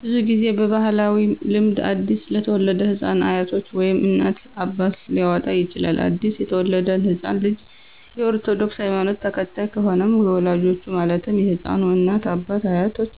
ብዙ ጊዜ በባህላዊ ልምድ አዲስ ለተወለደ ህፃን አያቶች ወይም እናት፣ አባት ሊያወጣ ይችላል። አዲስ የተወለደው ህፃን ልጅ የ ኦርቶዶክስ ሀይማኖት ተከታይ ከሆነም የወላጆቹ ማለትም የህፃኑ እናት፣ አባት፣ አያቶች